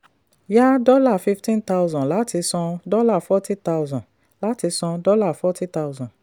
yá dollar fifteen thousand láti san dollar forty thousand. láti san dollar forty thousand.